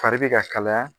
Fari bɛ ka kalaya